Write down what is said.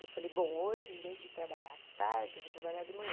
Eu falei, bom, hoje, em vez de trabalhar à tarde, eu vou trabalhar de manhã.